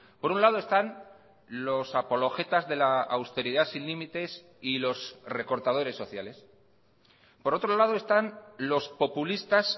por un lado están los apologetas de la austeridad sin límites y los recortadores sociales por otro lado están los populistas